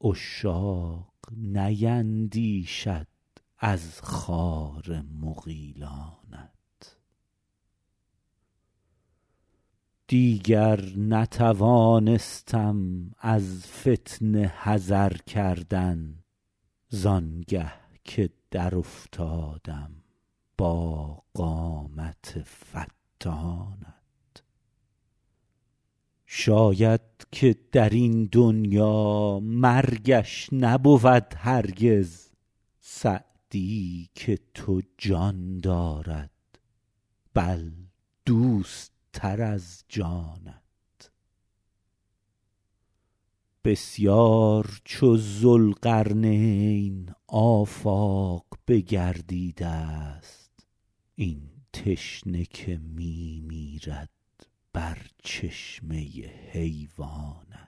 عشاق نیندیشند از خار مغیلانت دیگر نتوانستم از فتنه حذر کردن زآنگه که در افتادم با قامت فتانت شاید که در این دنیا مرگش نبود هرگز سعدی که تو جان دارد بل دوست تر از جانت بسیار چو ذوالقرنین آفاق بگردیده ست این تشنه که می میرد بر چشمه حیوانت